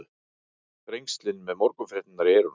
Þrengslin með morgunfréttirnar í eyrunum.